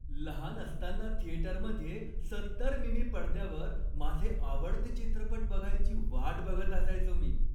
लहान असताना थिएटरमध्ये सत्तर मि.मी. पडद्यावर माझे आवडते चित्रपट बघायची वाट बघत असायचो मी.